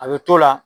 A bɛ t'o la